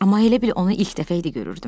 Amma elə bil onu ilk dəfə idi görürdüm.